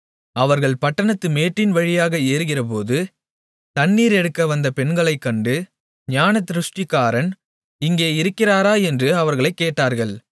அவர்கள் பட்டணத்து மேட்டின் வழியாக ஏறுகிறபோது தண்ணீர் எடுக்கவந்த பெண்களைக் கண்டு ஞானதிருஷ்டிக்காரன் இங்கே இருக்கிறாரா என்று அவர்களைக் கேட்டார்கள்